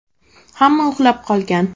Hamma uxlab qolgan.